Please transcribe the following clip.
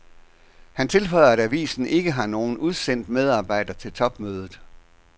Han tilføjer, at avisen ikke har nogen udsendt medarbejder til topmødet.